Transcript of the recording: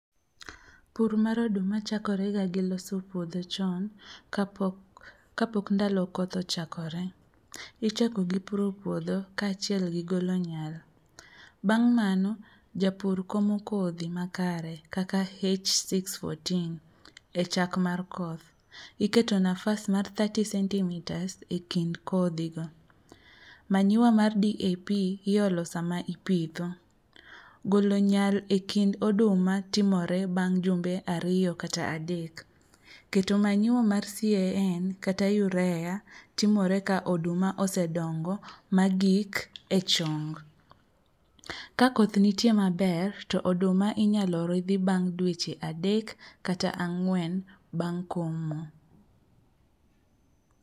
Pur mar oduma chakorega gi loso puodho chon kapok ndalo koth ochakore. Ichako gi puro puodho kaachiel gi golo nyal. Bang' mano japur komo kodhi makare kaka h614 e chak mar koth. Iketo nafas mar thirty centimetres e kind kodhigo. Manyiwa mar DAP iolo sama ipitho, golo nyal e kind oduma timore bang' jumbe ariyo kata adek. Keto manyiwa mar CAN kata UREA timore ka oduma osedongo magik e chong. Ka koth nitie maber to oduma inyalo ridhi bang' dweche adek kata ang'wen bang' komo.